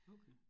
Okay